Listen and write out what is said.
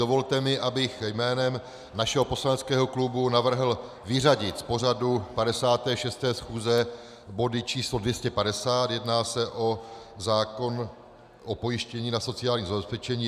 Dovolte mi, abych jménem našeho poslaneckého klubu navrhl vyřadit z pořadu 56. schůze body č. 250 - jedná se o zákon o pojištění na sociální zabezpečení.